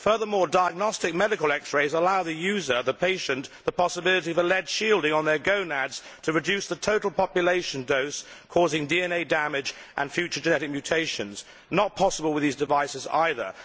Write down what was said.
Furthermore, diagnostic medical X rays allow the user, the patient, the possibility of a lead shielding on their gonads to reduce the total population dose causing DNA damage and future genetic mutations not possible with these devices either.